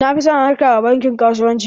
Na fi son harka da bankin kasuwanci.